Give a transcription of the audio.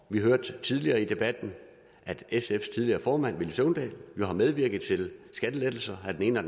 vi hørte tidligere i debatten at sfs tidligere formand villy søvndal jo har medvirket til skattelettelser af den ene og